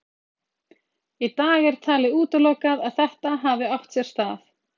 Í dag er talið útilokað að þetta hafi átt sér stað.